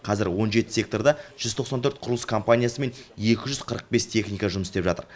қазір он жеті секторда жүз тоқсан төрт құрылыс компаниясы мен екі жүз қырық бес техника жұмыс істеп жатыр